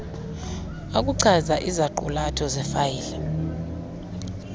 okuchaza iziqulatho zefayile